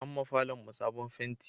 An ma falon mu sabon fenti